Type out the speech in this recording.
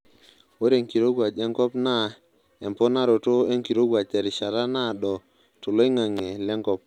Ore enkirowuaj enkop naa emponaroto enkirowuaj terishata naaado toloingange lenkop.